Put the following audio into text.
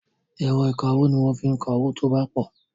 Ẹ̀rọ ìkawó ni wọ́n fi ń ka owó tí ó bá pọ̀.